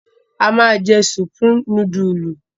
A máa jẹ Supreme núdúlù.